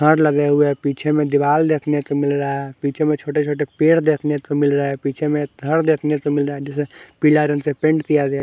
Guard लगे हुए हैं पीछे में दीवाल देखने को मिल रहा है पीछे में छोटे छोटे पेड़ देखने को मिल रहा है पीछे घर देखने को मिल रहा है जिसे पीला रंग से पेंट किया गया।